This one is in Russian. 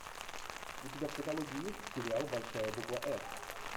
у тебя в каталоге есть сериал большая буква р